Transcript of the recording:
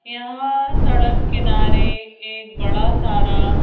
यहां सड़क किनारे एक बड़ा सारा--